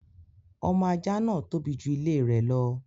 Ọmọ ajá náà tóbi ju ilé rẹ̀ lọ.